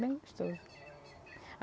Bem gostoso.